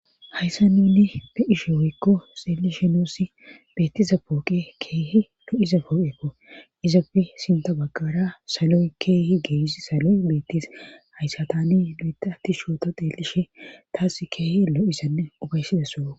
hayssa nunni be7ishe oykko xeellishe nuusi beettiza pooqe keehi lo7iza pooqeko izafi sinta baggara saloy keehi geeis saloy beettis hayssa tani doea ati shoota xeelishe taas keehi lo7isanne obaysidasso